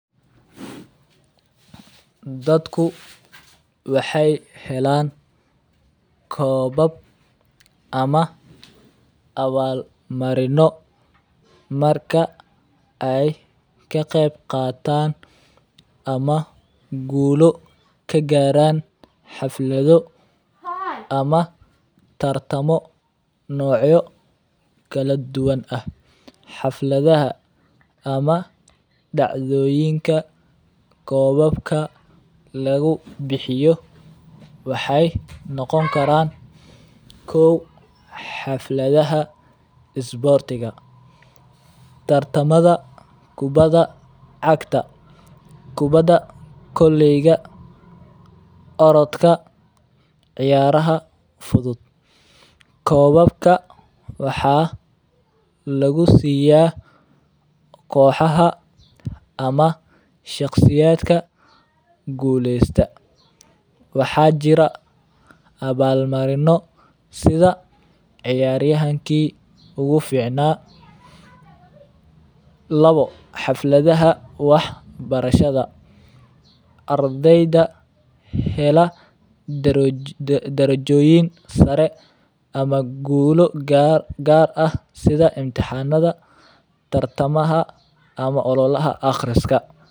Dadku waxeey helaan koobab ama abaal marino marka aay ka qeyb qaatan ama guulo ka gaaran tartamo noocyo kala duban ah, xafladaha ama dacdooyinka koobabka lagu bixiyo waxaay noqon karaan kuwa xafladaha isboortigu, tartamaha kubada cagta, kubada koleyga, orodka, ciyaraha fudud, koobabka waxaa lagu siiya koxaha ama shaqsiyadka guleesta, waxaa jira abaal marino sida ciyaaryahanka ugu ficnaa, Labo, xafladaha wax barashada ardeyda hela darajoyin sare ama guulo gaar ah sida ololaha aqriska.